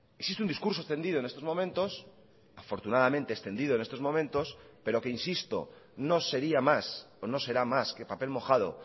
existe un discurso extendido en estos momentos afortunadamente extendido en estos momentos pero que insisto no sería más o no será más que papel mojado